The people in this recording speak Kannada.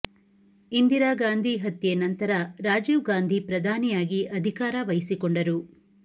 ಇಂದಿರಾ ಗಾಂಧಿ ಹತ್ಯೆ ನಂತರ ರಾಜೀವ್ ಗಾಂಧಿ ಪ್ರಧಾನಿಯಾಗಿ ಅಧಿಕಾರ ವಹಿಸಿಕೊಂಡರು